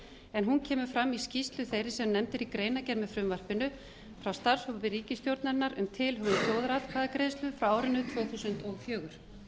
en hún kemur fram í skýrslu þeirri sem nefnd er í greinargerð með frumvarpinu frá starfshópi ríkisstjórnarinnar um tilhögun þjóðaratkvæðagreiðslu frá árinu tvö þúsund og fjögur